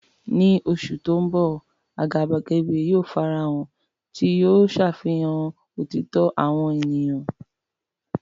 Ní oṣù tó ń bọ̀, àgàbàgebè yóò farahàn, tí yóò ṣàfihàn òtítọ́ àwọn ènìyàn.